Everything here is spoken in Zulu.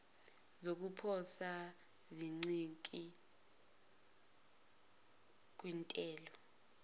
zokuposa zincike kwintela